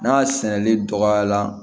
N'a sɛnɛli dɔgɔya la